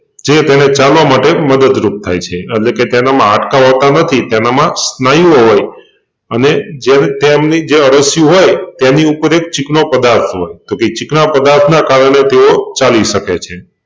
જે તેને ચાલવા માટે મદદરૂપ થાય છે એટલેકે તેનામાં હાડકાં હોતાં નથી તેનામાં સ્નાયુઓ હોય અને જે તેમની જે અળસિયું હોય તેની ઉપર એક ચીકણો પદાર્થ હોય તોકે એ ચીકણા પદાર્થ ને કારણે તેઓ ચાલી સકે છે.